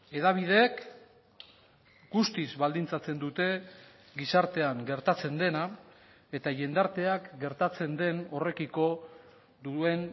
hedabideek guztiz baldintzatzen dute gizartean gertatzen dena eta jendarteak gertatzen den horrekiko duen